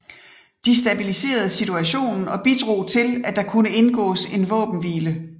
De stabiliserede situationen og bidrog til at der kunne indgåes en våbenhvile